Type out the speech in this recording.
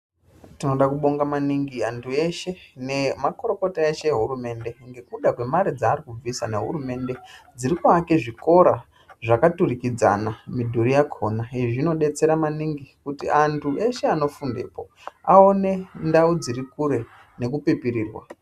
Tinoda kubonga maningi antu eshe nemakurukota eshe ehurumende nekuda kwamare dzavari kubvisa nehurumende dziri kuake zvikora zvakaturikidzana midhuri yakhona. Izvi zvinodetsera maningi kuti antu eshe anofundepo aone ndau dzirikure nekupipirirwa.